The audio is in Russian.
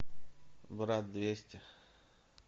брат двести